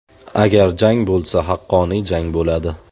Agar jang bo‘lsa haqqoniy jang bo‘ladi.